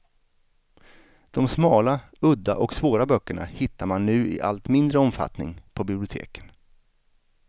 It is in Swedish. De smala, udda och svåra böckerna hittar man nu i allt mindre omfattning på biblioteken.